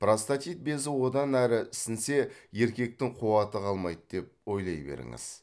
простатит безі одан әрі ісінсе еркектің қуаты қалмайды деп ойлай беріңіз